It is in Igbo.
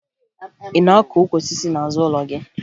Ị na-akụ ukwu osisi n'azụ ụlọ gị?